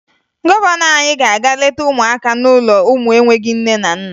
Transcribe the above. Gọvanọ anyị ga-aga leta ụmụaka n'ụlọ ụmụ enweghi nne na nna